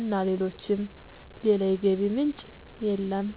እና ሌሎችም። ሌላ የገቢ ምንጭ የለም።